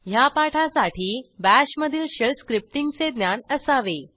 ह्या पाठासाठी BASHमधील शेल स्क्रिप्टींगचे ज्ञान असावे